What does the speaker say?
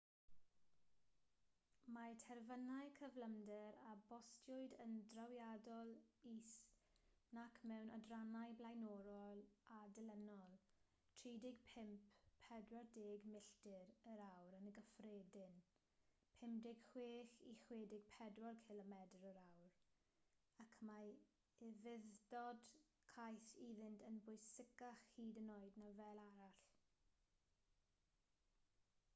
mae terfynau cyflymder a bostiwyd yn drawiadol is nac mewn adrannau blaenorol a dilynol - 35-40 milltir yr awr yn gyffredin 56-64 cilomedr yr awr - ac mae ufudd-dod caeth iddynt yn bwysicach hyd yn oed na fel arall